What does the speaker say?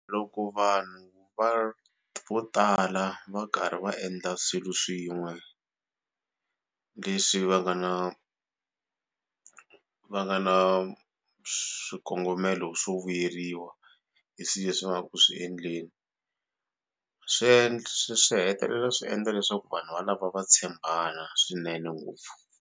Loko vanhu va vo tala va karhi va endla swilo swin'we leswi va nga na va nga na swikongomelo swo vuyeriwa hi swilo leswi va nga ku swi endleni swi swi hetelela swi endla leswaku vanhu valava va tshembana swinene ngopfu.